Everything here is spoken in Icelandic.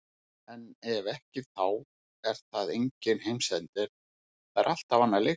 En ef ekki þá er það enginn heimsendir, það er alltaf annar leikur.